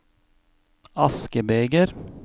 askebeger